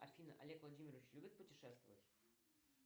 афина олег владимирович любит путешествовать